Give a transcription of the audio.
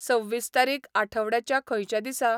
सव्वीस तारीख आठवड्याच्या खंयच्या दिसा?